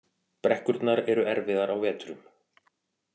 Brekkurnar eru erfiðar á vetrum